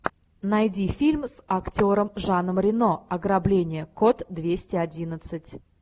найди фильм с актером жаном рено ограбление код двести одиннадцать